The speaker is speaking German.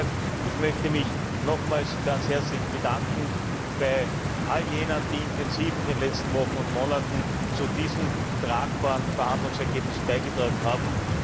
Und, wie gesagt, ich möchte mich nochmals ganz herzlich bedanken bei all jenen, die in den letzten Wochen und Monaten intensiv zu diesem tragfähigen Verhandlungsergebnis beigetragen haben.